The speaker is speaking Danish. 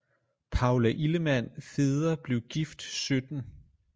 Paula illemann feder blev gift 17